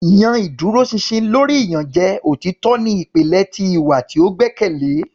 yan iduroṣinṣin lori iyanjẹ; Otitọ ni ipilẹ ti iwa ti o gbẹkẹle.